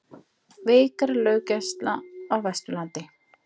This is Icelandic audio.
Veikari löggæsla á Vesturlandi